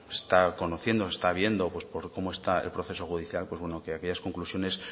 se está conociendo se está viendo por cómo está el proceso judicial pues bueno que aquellas conclusiones